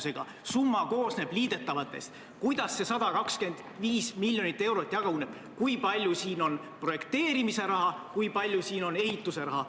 Öelge kas või 10 miljoni täpsusega, kuidas see 125 miljonit eurot jaguneb, kui palju siin on projekteerimise raha ja kui palju siin on ehituse raha.